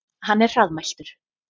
Hann er hraðmæltur.